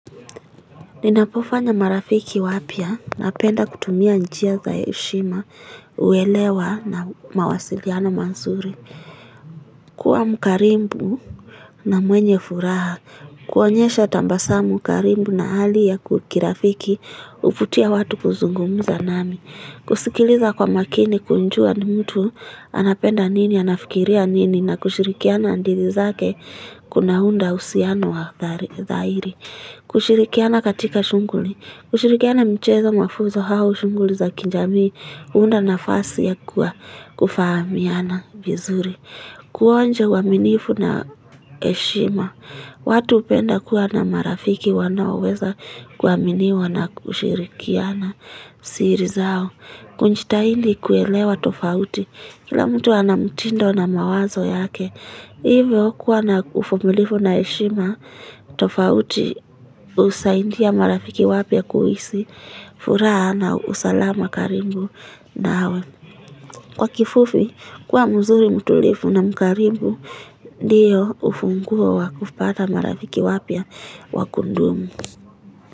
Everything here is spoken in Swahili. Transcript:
Ninapofanya marafiki wapya napenda kutumia njia za heshima uelewa na mawasiliano mazuri Kuqa mkarimbu na mwenye furaha kuonyesha tabasamu karibu na hali ya kukirafiki uvutia watu kuzungumuza nami kusikiliza kwa makini kunjua ni mtu anapenda nini anafikiria nini na kushirikiana ndizi zake kuna hunda usiano wa zahiri kushirikiana katika shunguli kushirikiana mchezo mafuzo hao shunguli za kinjami Uunda nafasi ya kuwa kufahamiana bizuri Kuonje uaminifu na eshima watu upenda kuwa na marafiki wanaoweza Kuaminiwa na kushirikiana siri zao Kunjitaili kuelewa tofauti Kila mtu ana mtindo na mawazo yake Hivyo kuwa na uvumilifu na eshima tofauti usaidia marafiki wapya kuhisi furaha na usalama karibu nawe Kwa kifufi, kwa mzuri mtulifu na mkarimbu Ndiyo ufunguwa wakupata marafiki wapia wakundumu.